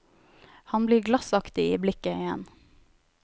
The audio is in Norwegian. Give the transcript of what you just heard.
Han blir glassaktig i blikket igjen.